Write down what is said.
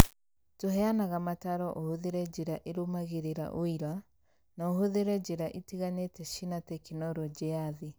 Tũheanaga mataro ũhũthĩre njĩra ĩrũmagĩrĩra ũira, na ũhũthĩre njĩra itiganĩte cina tekinoronjĩ ya thĩ.